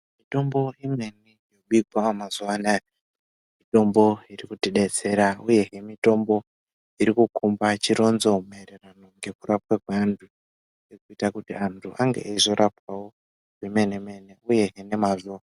Mitombo imweni yobikwa mazuwanaya mitombo irikutodetsera uyehe mitombo irikukomba chironzo maererano ngekurapwa kweantu ngekuita kuti antu ange eizorapwawo zvemene mene uye nemazvo.